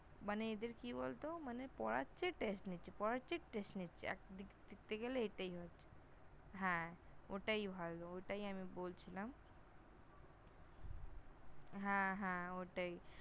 মানে এদের কি বলত মানে পড়াচ্ছে Test নিচ্ছে, পড়াচ্ছে Test নিচ্ছে। দেখতে গেলে এটাই, হ্যাঁ ওটাই ভালো, ওটাই আমি বলছিলাম। হ্যাঁ হ্যাঁ ওটাই